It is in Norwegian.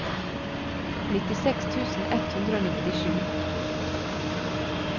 nittiseks tusen ett hundre og nittisju